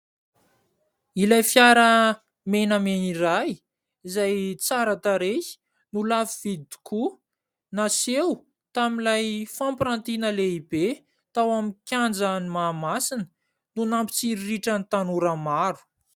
Ilay fiara menamena iray izay tsara tarehy no lafo vidy tokoa, naseho tamin'ilay fampirantiana lehibe tao amin'ny kianjan'i Mahamasina, no nampitsiriritra ny tanora maro.